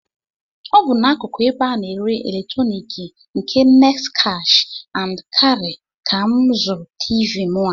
Ọ bụ n'akụkụ ebe a na-ere eletroniki nke Next Cash and Carry ka m zụrụ Tiivii mụ a